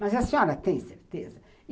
Mas a senhora tem certeza?